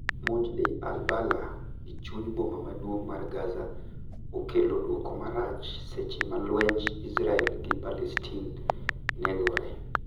Monj Deir al-Balah, e chuny boma maduong' mar Gaza okelo duoko marach seche malwenj Israel gi Palestin ne gore.